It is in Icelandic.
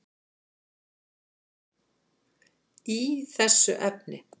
í þessu efni.